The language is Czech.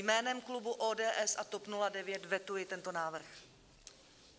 Jménem klubu ODS a TOP 09 vetuji tento návrh.